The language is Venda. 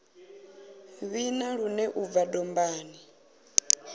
vhina lune u bva dombani